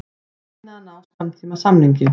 Reyna að ná skammtímasamningi